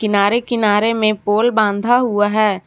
किनारे किनारे में पोल बांधा हुआ है।